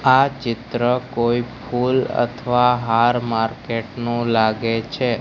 આ ચિત્ર કોઈ ફૂલ અથવા હાર માર્કેટ નું લાગે છે.